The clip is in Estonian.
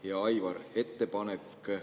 Hea Aivar!